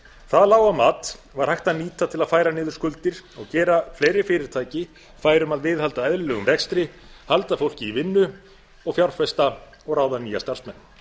það lága mat var hægt að nýta á að færa niður skuldir og gera fleiri fyrirtæki fær um að halda eðlilegum rekstri halda fólki í vinnu og fjárfesta og ráða nýja starfsmenn